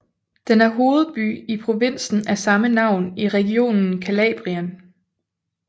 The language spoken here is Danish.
Den er hovedby i provinsen af samme navn i regionen Calabrien